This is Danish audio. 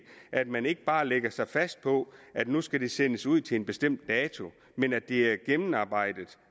at man ikke bare lægger sig fast på at nu skal det sendes ud til en bestemt dato men at det er gennemarbejdet